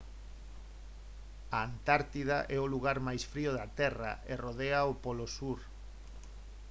a antártida é o lugar máis frío da terra e rodea o polo sur